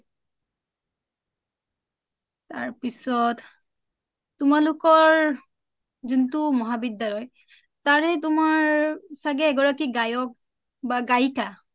তাৰপিছত তোমালোকৰ যোনটো মহাবিদ্যালয় তাৰে তোমাৰ চাগে এগৰাকী গায়ক বা গায়িকা